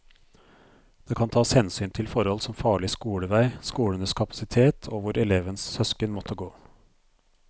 Det kan tas hensyn til forhold som farlig skolevei, skolenes kapasitet og hvor elevens søsken måtte gå.